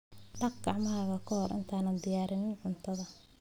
Dhaq gacmahaaga ka hor intaadan diyaarin cuntadaada.